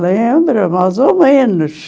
Lembro, mais ou menos.